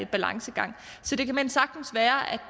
balancegang så det kan såmænd sagtens være